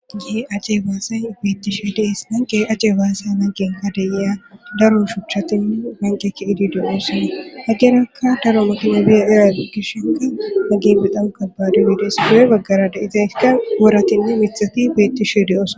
Kehi ace baasa beettishe dees nanqe ace baassa nangen adeyea daro shuchatinne banqeke idideo oosana hagerakka daro makina biya era gishenka magebidanka baadubidees doe baggara da izayka goratinna mithati beettishe deeoosa